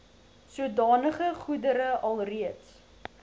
sodanige goedere alreeds